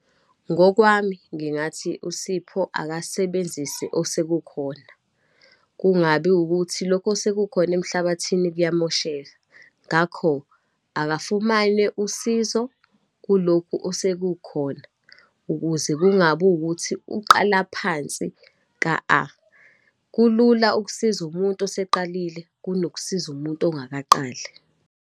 Ngokwami ngingathi, uSipho akasebenzise osekukhona, kungabi ukuthi lokho osekukhona emhlabathini kuyamosheka. Ngakho akafumane usizo kulokhu osekukhona, ukuze kungabi wukuthi uqala phansi ka-A. Kulula ukusiza umuntu oseqalile kunokusiza umuntu ongakaqali.